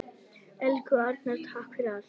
Elsku Arnar, takk fyrir allt.